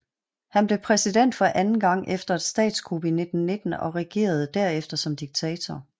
Han blev præsident for anden gang efter et statskup i 1919 og regerede derefter som diktator